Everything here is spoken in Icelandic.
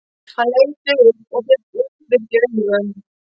Hann leit upp og fékk ofbirtu í augun.